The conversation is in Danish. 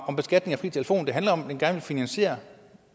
om beskatning af fri telefon det handler om at man gerne vil finansiere